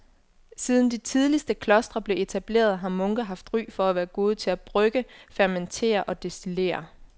Siden de tidligste klostre blev etableret har munke haft ry for at være gode til at brygge, fermentere og destillere.